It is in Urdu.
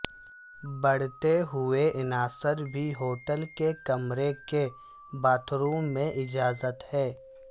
بڑھتے ہوئے عناصر بھی ہوٹل کے کمرے کے باتھ روم میں اجازت ہے